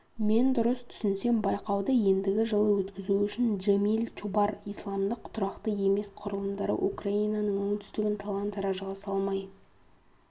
мен дұрыс түсінсем байқауды ендігі жылы өткізу үшін джемил-чубар-исламдық тұрақты емес құрылымдары украинаның оңтүстігін талан-таражға салмай